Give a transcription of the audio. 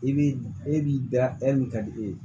I b'i e b'i da hɛrɛ min ka di e ye